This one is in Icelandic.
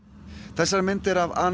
þessar myndir af